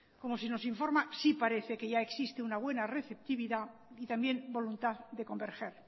como se nos informa sí parece que ya existe una buena receptividad y también voluntad de converger